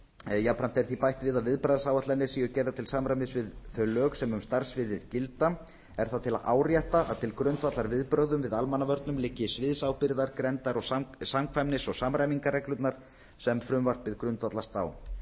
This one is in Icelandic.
jafnframt er því bætt við að viðbragðsáætlanir séu gerðar til samræmis við þau lög sem um starfssviðið gilda er það til að árétta að til grundvallar viðbrögðum við almannavörnum liggi sviðsábyrgðar grenndar samkvæmnis og samræmingarreglurnar sem frumvarpið grundvallast á